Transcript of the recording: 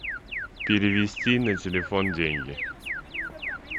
перевести на телефон деньги